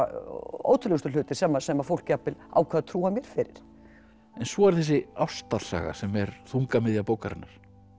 ótrúlegustu hlutir sem sem fólk jafnvel ákvað að trúa mér fyrir en svo er þessi ástarsaga sem er þungamiðja bókarinnar